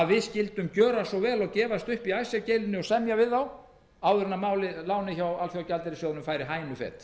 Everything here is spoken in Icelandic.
að við skyldum gjöra svo vel og gefast upp í icesave deilunni og semja við þá áður en lánið hjá alþjóðagjaldeyrissjóðnum færi hænufet